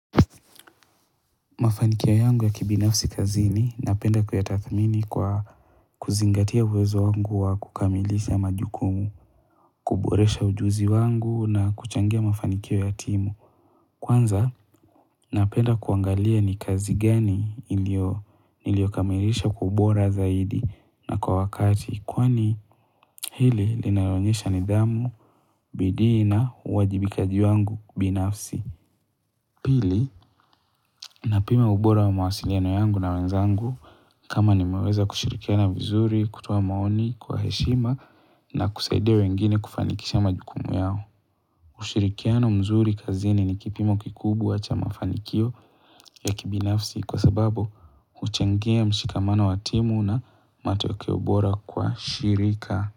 Mafanikio yangu ya kibinafsi kazini napenda kuyatathamini kwa kuzingatia uwezo wangu wa kukamilisha majukumu, kuboresha ujuzi wangu na kuchangia mafanikio ya timu. Kwanza napenda kuangalia ni kazi gani ilio nilio kamilisha kwa ubora zaidi na kwa wakati kwani hili linaonyesha nidhamu, bidii na, uwajibikaji wangu binafsi. Pili, napima ubora wa mawasiliano yangu na wenzangu kama ni meweza kushirikiana vizuri, kutoa maoni kwa heshima na kusaidia wengine kufanikisha majukumu yao. Ushirikiano mzuri kazini ni kipimo kikubwa cha mafanikio ya kibinafsi kwa sababu huchangia mshikamano watimu na matokeo bora kwa shirika.